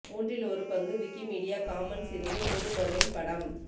மூன்றில் ஒரு பங்கு விக்கிமீடியா காமன்ஸ் இருந்து பொது டொமைன் படம்